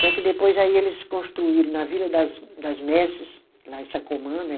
Só que depois aí eles construíram na Vila das das Merses, lá em Sacomã, né?